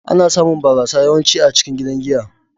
Ana samun barasa yawanci a cikin gidan giya.